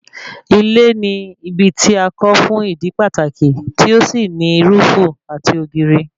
Ilé ni ibi tí a kọ́ fún ìdí pàtàkì tí ó sì ní rúúùfù àti ògiri